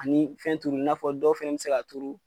Ani fɛn turu i n'afɔ dɔw fɛnɛ bi se ka turu